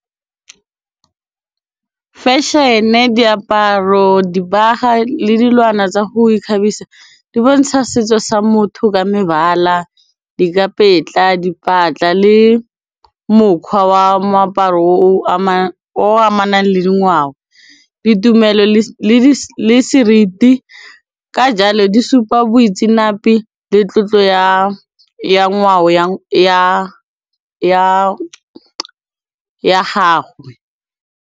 Fashion-e, diaparo, dibagwa le dilwana tsa go ikgabisa di bontsha setso sa motho ka mebala, dikapetla, dipatla le mokgwa wa moaparo o amanang le ngwao ditumelo le le seriti ka jalo di supa boitseanape le tlotlo ya ya ngwao ya gago.